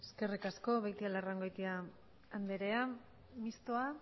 eskerrik asko beitialarrangoitia anderea mistoa